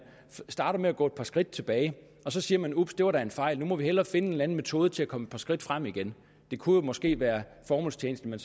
starter med at gå et par skridt tilbage og så siger man ups det var da en fejl nu må vi hellere finde en eller anden metode til at komme et par skridt frem igen det kunne måske være formålstjenligt at